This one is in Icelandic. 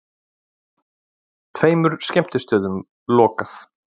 Tveimur skemmtistöðum lokað